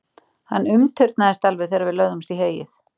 Hann umturnaðist alveg þegar við lögðumst í heyið.